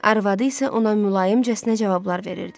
Arvadı isə ona mülayimcəsinə cavablar verirdi.